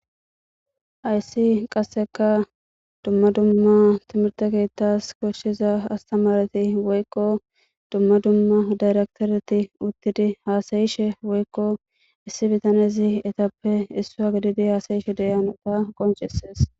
ayssi qasseka dumma dumma timirte kiettas koshshiza astamareti woykko dumma dumma dayrektoreti uttidi haasayishe woykko issi bitanezi etappe issu ha gididi haasayishe deyanota qoncesees